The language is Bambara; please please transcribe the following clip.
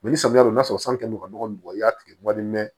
ni samiya don na sisan n'u ka nɔgɔ bɔgɔ i y'a tigi wari mɛn